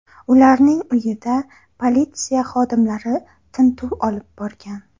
Ularning uyida politsiya xodimlari tintuv olib borgan.